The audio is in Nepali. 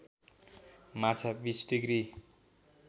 माछा २० डिग्री